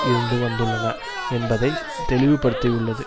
இருந்து வந்துள்ளன என்பதை தெளிவுபடுத்தியுள்ளது